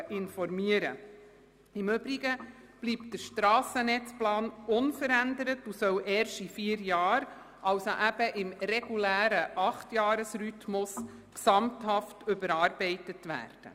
Im Übrigen bleibt der Strassennetzplan unverändert, und er soll erst in vier Jahren – im regulären Acht-Jahres-Rhythmus – gesamthaft überarbeitet werden.